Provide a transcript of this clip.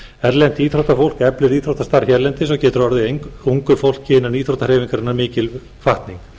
erlent íþróttafólk eflir íþróttastarf hérlendis og getur orðið ungu fólki innan íþróttahreyfingarinnar mikil hvatning